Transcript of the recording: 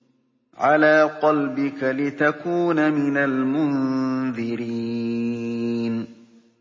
عَلَىٰ قَلْبِكَ لِتَكُونَ مِنَ الْمُنذِرِينَ